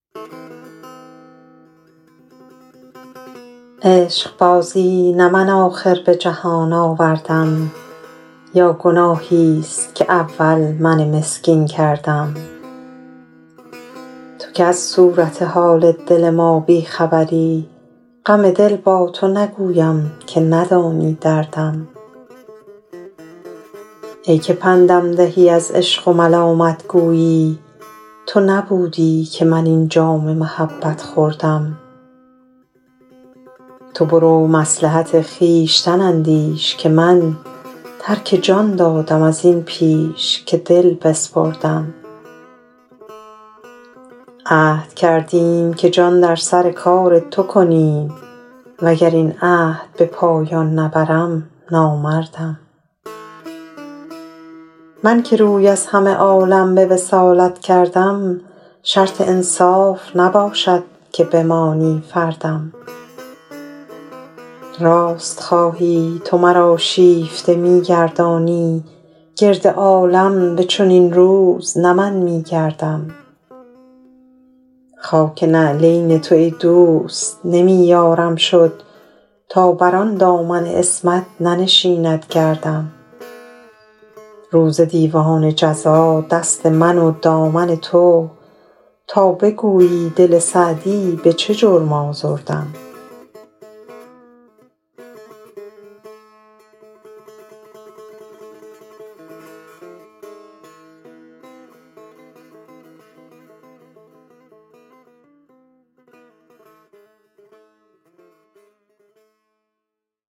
عشقبازی نه من آخر به جهان آوردم یا گناهیست که اول من مسکین کردم تو که از صورت حال دل ما بی خبری غم دل با تو نگویم که ندانی دردم ای که پندم دهی از عشق و ملامت گویی تو نبودی که من این جام محبت خوردم تو برو مصلحت خویشتن اندیش که من ترک جان دادم از این پیش که دل بسپردم عهد کردیم که جان در سر کار تو کنیم و گر این عهد به پایان نبرم نامردم من که روی از همه عالم به وصالت کردم شرط انصاف نباشد که بمانی فردم راست خواهی تو مرا شیفته می گردانی گرد عالم به چنین روز نه من می گردم خاک نعلین تو ای دوست نمی یارم شد تا بر آن دامن عصمت ننشیند گردم روز دیوان جزا دست من و دامن تو تا بگویی دل سعدی به چه جرم آزردم